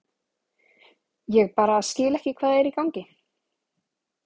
Ég bara skil ekki hvað er í gangi.